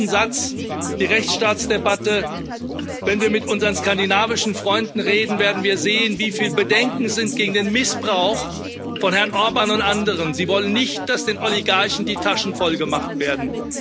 Noch einen letzten Satz die Rechtsstaatsdebatte Wenn wir mit unseren skandinavischen Freunden reden, werden wir sehen, wie viele Bedenken gegen den Missbrauch seitens Herrn Orbáns und anderer bestehen. Sie wollen nicht, dass den Oligarchen die Taschen vollgemacht werden.